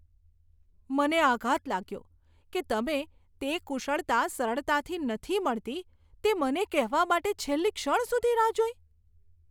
મને આઘાત લાગ્યો કે તમે તે કુશળતા સરળતાથી નથી મળતી તે મને કહેવા માટે છેલ્લી ક્ષણ સુધી રાહ જોઈ.